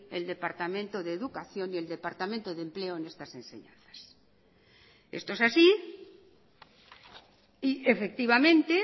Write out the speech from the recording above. el departamento de educación y el departamento de empleo en estas enseñanzas esto es así y efectivamente